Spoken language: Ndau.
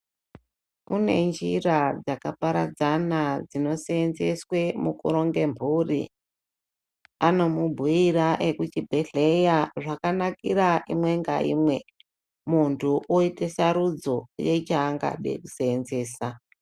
Kune njira dzakaparadzana dzinosenzeswe mukuronge mhuri. Anomubhuira ekuchibhedhleya akanakira imwe ngaimwe. Muntu voite sarudzo yechaangade kusenzesa.